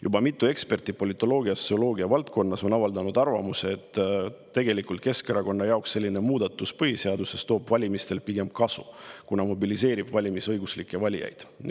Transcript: Juba mitu eksperti politoloogia ja sotsioloogia valdkonnas on avaldanud arvamust, et Keskerakonnale tooks selline põhiseaduse muudatus valimistel pigem kasu, kuna see mobiliseeriks valimisõiguslikke.